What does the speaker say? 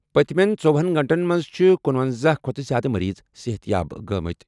پٔتِمٮ۪ن ژۄہنَ گٲنٛٹن منٛز چھِ کنُۄنزَہ کھۄتہٕ زِیٛادٕ مریض صحتیاب گٔمٕتۍ۔